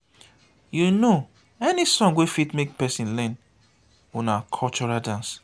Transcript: you know any song wey fit make person learn una cultural dance?